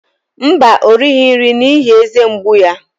Mba, o righị nri n'ihi eze mgbu ya.